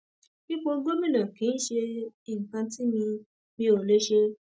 ipò gómìnà kì í ṣe nǹkan tí mi mi ò lè ṣe